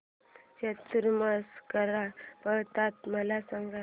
चातुर्मास कसा पाळतात मला सांग